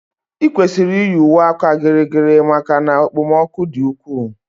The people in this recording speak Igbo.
I kwesịrị iyi uwe áka gịrịgịrị maka na okpomọkụ di ukwu